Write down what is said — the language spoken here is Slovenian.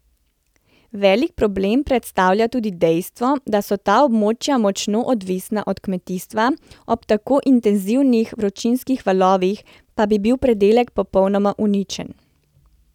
Velik problem predstavlja tudi dejstvo, da so ta območja močno odvisna od kmetijstva, ob tako intenzivnih vročinskih valovih pa bi bil pridelek popolnoma uničen.